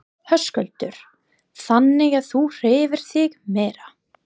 Höskuldur: Þannig að þú hreyfir þig meira?